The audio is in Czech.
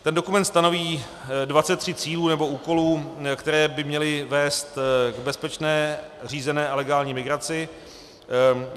Ten dokument stanoví 23 cílů nebo úkolů, které by měly vést k bezpečné, řízené a legální migraci.